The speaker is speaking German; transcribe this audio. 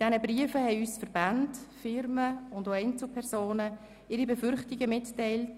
In diesen haben uns Verbände, Firmen und auch Einzelpersonen ihre Befürchtungen mitgeteilt.